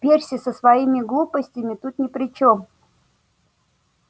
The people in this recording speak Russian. перси со своими глупостями тут ни при чем